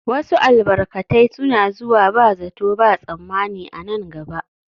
Wasu albarkatai suna zuwa ba zato ba tsammani a nan gaba